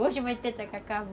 Hoje vai ter tacacá?